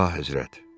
Əlahəzrət.